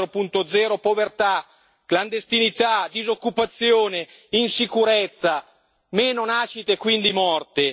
4.0 povertà, clandestinità, disoccupazione, insicurezza, meno nascite e quindi morte.